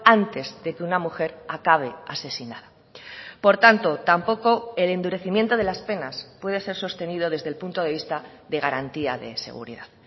antes de que una mujer acabe asesinada por tanto tampoco el endurecimiento de las penas puede ser sostenido desde el punto de vista de garantía de seguridad